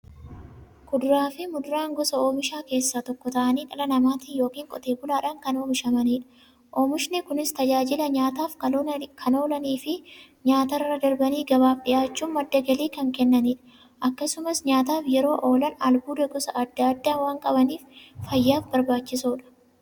Kuduraafi muduraan gosa oomishaa keessaa tokko ta'anii, dhala namaatin yookiin Qotee bulaadhan kan oomishamaniidha. Oomishni Kunis, tajaajila nyaataf kan oolaniifi nyaatarra darbanii gabaaf dhiyaachuun madda galii kan kennaniidha. Akkasumas nyaataf yeroo oolan, albuuda gosa adda addaa waan qabaniif, fayyaaf barbaachisoodha.